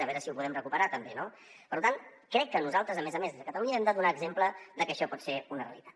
a veure si ho podem recuperar també no per tant crec que nosaltres a més a més des de catalunya hem de donar exemple de que això pot ser una realitat